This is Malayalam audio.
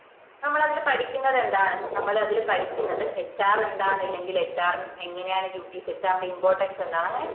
നമ്മളതില് പഠിക്കുന്നതെന്താണ് നമ്മളതില് പഠിക്കുന്നത് HR എന്താണ് അല്ലെങ്കിൽ HR എങ്ങനെയാണ്‌ dutieshr ന്റെ importance എന്താണ് അങ്ങനെ